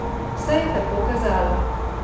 Vse je tako kazalo.